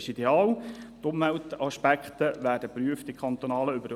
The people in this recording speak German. Die Umweltaspekte werden in der kantonalen Überbauungsordnung geprüft.